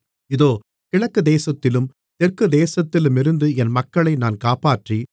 இதோ கிழக்குதேசத்திலும் தெற்கு தேசத்திலுமிருந்து என் மக்களை நான் காப்பாற்றி